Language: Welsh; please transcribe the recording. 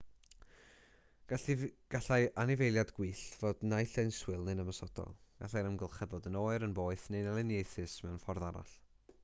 gallai anifeiliaid gwyllt fod naill ai'n swil neu'n ymosodol gallai'r amgylchedd fod yn oer poeth neu'n elyniaethus mewn ffordd arall